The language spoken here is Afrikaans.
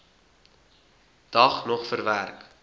dag nog verwerk